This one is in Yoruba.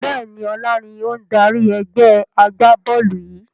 Bẹ́ẹ̀ni, ọlá ni ó ń dárí ẹgbẹ́ agbá-bọ́ọ́lù yìi